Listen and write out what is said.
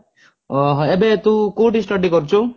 ଓଃ ହୋ ଏବେ ତୁ କଉଠି study କରୁଛୁ?